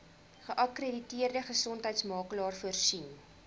geakkrediteerde gesondheidsorgmakelaar voorsien